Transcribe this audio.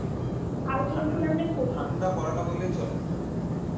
ঠান্ডা পরে না বললেই চলে